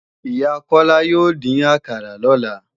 Ìyá Kọ́lá yóò dín àkàrà lọ́la